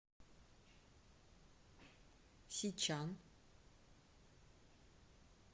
сичан